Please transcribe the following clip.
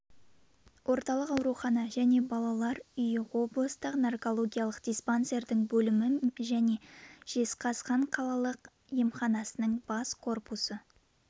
орталық аурухана және балалар үйі облыстық наркологиялық диспансердің бөлімі және жезқазған қалалық емханасының бас корпусы